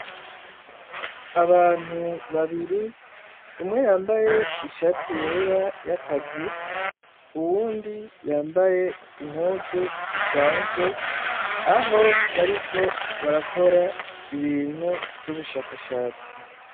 Abantu babiri umwe yambaye ishati yera y'akazi uwundi yambaye impuzu zisanzwe aho bariko barakora ibintu vy'ubushakashatsi.